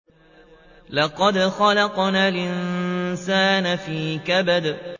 لَقَدْ خَلَقْنَا الْإِنسَانَ فِي كَبَدٍ